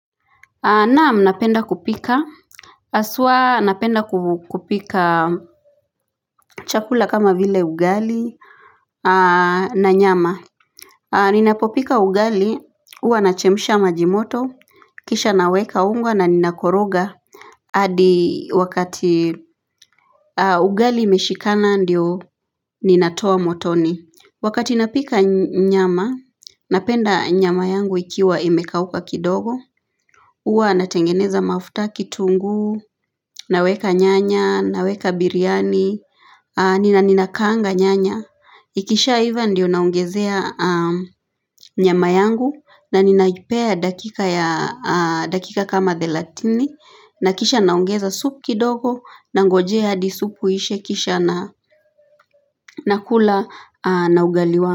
Naam napenda kupika Aswa napenda kupika chakula kama vile ugali na nyama Ninapopika ugali huwa nachemsha maji moto Kisha naweka unga na ninakoroga adi wakati Ugali imeshikana ndio ninatoa motoni Wakati napika nyama Napenda nyama yangu ikiwa imekauka kidogo Uwa natengeneza mafuta kitungu Naweka nyanya, naweka biryani Nina nina kaanga nyanya Ikishaiva ndiyo naongezea nyama yangu na ninaipea dakika kama thelatini na kisha naongeza supu kidogo Nangojea hadi supu ishe kisha na kula na ugali wangu.